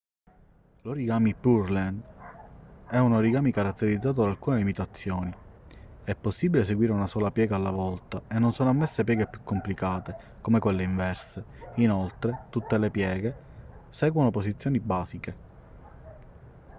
l'origami pureland è un origami caratterizzato da alcune limitazioni è possibile eseguire una sola piega alla volta e non sono ammesse pieghe più complicate come quelle inverse inoltre tutte le pieghe seguono posizioni basiche